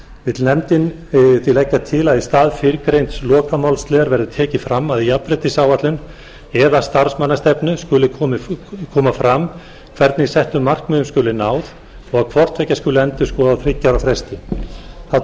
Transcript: vill nefndin því leggja til að í stað fyrrgreinds lokamálsliðar verði tekið fram að í jafnréttisáætlun eða starfsmannastefnu skuli koma fram hvernig settum markmiðum skuli náð og að hvort tveggja skuli endurskoða á þriggja ára